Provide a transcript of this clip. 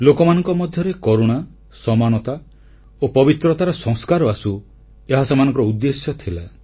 ଲୋକମାନଙ୍କ ମଧ୍ୟରେ କରୁଣା ସମାନତା ଓ ପବିତ୍ରତାର ସଂସ୍କାର ଆସୁ ଏହା ସେମାନଙ୍କର ଉଦ୍ଦେଶ୍ୟ ଥିଲା